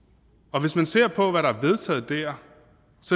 og hvis man ser på hvad der er vedtaget der